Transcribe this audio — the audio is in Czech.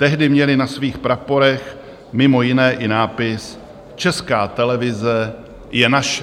Tehdy měli na svých praporech mimo jiné i nápis Česká televize je naše.